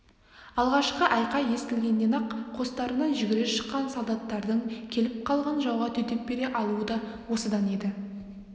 алғашқы айқай естілгеннен-ақ қостарынан жүгіре шыққан солдаттардың келіп қалған жауға төтеп бере алуы да осыдан еді